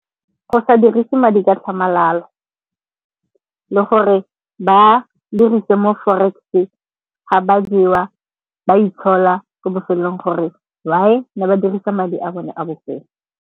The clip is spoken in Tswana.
Go sa dirise madi ka tlhamalalo. Le gore ba dirise mo Forex-e ga ba jewa ba itshola ko bofelelong gore why ne ba dirisa madi a bone a bofelo.